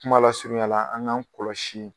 Kuma lasurunyala an k'an kɔlɔsi